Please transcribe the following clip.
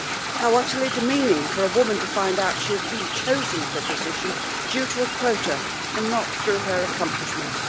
How utterly demeaning for a woman to find out she has been chosen for a position due to a quota and not through her accomplishments.